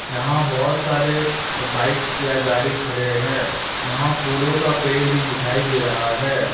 यहां बहुत सारे बाइक्स या गाड़ी खड़े हैं यहां फूलों का पेड़ भी दिखाई दे रहा है।